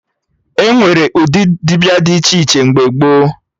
Enwere ụdị dibịa dị iche iche mgbe gboo